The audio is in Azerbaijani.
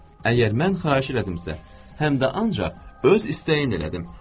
Əgər mən xahiş elədimsə, həm də ancaq öz istəyin elədim.